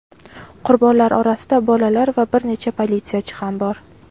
Qurbonlar orasida bolalar va bir necha politsiyachi ham bor.